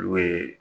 N'u ye